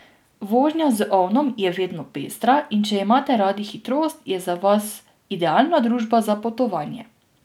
Vožnja z ovnom je vedno pestra, in če imate radi hitrost, je za vas idealna družba za potovanje.